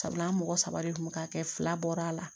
Sabula an mɔgɔ saba de kun bɛ k'a kɛ fila bɔra a la